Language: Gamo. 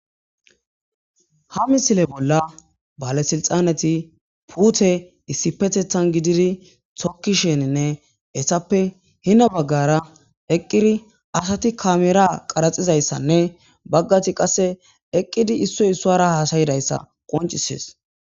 ha misile bolla balesilxaneti puute issi petethan gididi tokkisheninne essappe hina baggara eqqiri asati kameera qaraxizayssanne baggati qasse eqqidi issoy issuara haasayidayssa qoncisees